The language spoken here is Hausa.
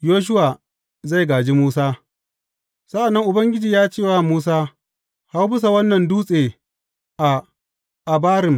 Yoshuwa zai gāji Musa Sa’an nan Ubangiji ya ce wa Musa, Hau bisa wannan dutse a Abarim.